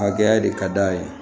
Hakɛya de ka d'a ye